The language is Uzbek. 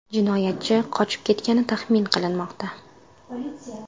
Jinoyatchi qochib ketgani taxmin qilinmoqda.